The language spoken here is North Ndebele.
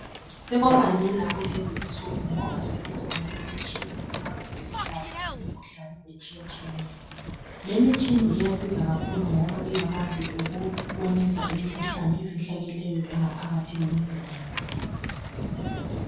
Sokwabalula kulezinsuku ngoba sekukhona imitshini ekwazi ukwelapha imikhuhlane etshiyetshiyeneyo. Lemitshini iyasiza kakhulu ngoba iyakwazi ukubonisa imikhuhlane efihlakeleyo engaphakathi kwemzimba yethu